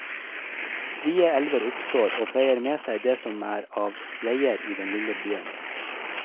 Strie elver oppstår, og feier med seg det som er av veier i den lille byen.